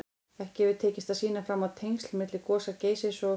Ekki hefur tekist að sýna fram á tengsl milli gosa Geysis og